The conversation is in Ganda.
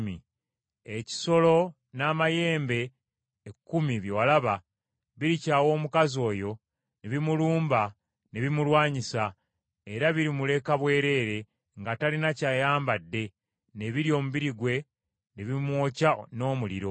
Ekisolo n’amayembe ekkumi bye walaba birikyawa omukazi oyo ne bimulumba ne bimulwanyisa, era birimuleka bwereere nga talina ky’ayambadde ne birya omubiri gwe, ne bimwokya n’omuliro.